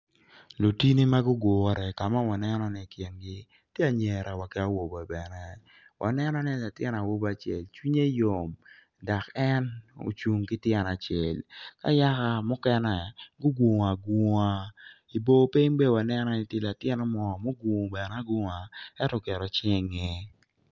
Lutini ma gugure ka ma waneno ni i kingi tye angira wa ki awobe bene waneni latin awobi acel cwinnye yom dak en ocung ki tyene acel ka yaka mukene gugungu agunga i bor piny bene wa neno en latin acel mo mugungu bene agunga eto oketo cinge ingeye